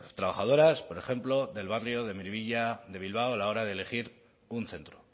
trabajadoras por ejemplo del barrio de miribilla de bilbao a la hora de elegir un centro